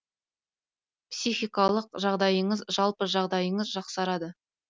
психикалық жағдайыңыз жалпы жағдайыңыз жақсарады